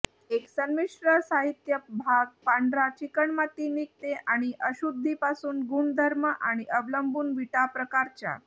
एक संमिश्र साहित्य भाग पांढरा चिकणमाती निघते आणि अशुद्धी पासून गुणधर्म आणि अवलंबून विटा प्रकारच्या